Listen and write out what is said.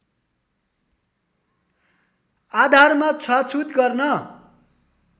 आधारमा छुवाछुत गर्न